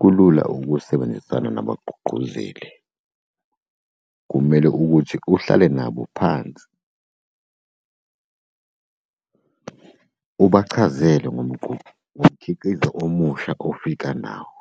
Kulula ukusebenzisana nabagqugquzeli. Kumele ukuthi uhlale nabo phansi ubachazele ngomkhiqizo omusha ofika nawo.